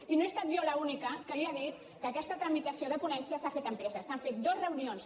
i no he estat jo l’única que li ha dit que aquesta tramitació de ponència s’ha fet amb presses s’han fet dues reunions